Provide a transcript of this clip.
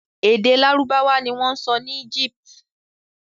Èdè Lárúbáwá ni wọ́n ń sọ ní Egypt.